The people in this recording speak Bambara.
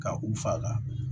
Ka u faga